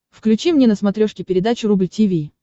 включи мне на смотрешке передачу рубль ти ви